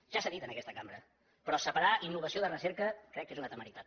ja s’ha dit en aquesta cambra però separar innovació de recerca crec que és una temeritat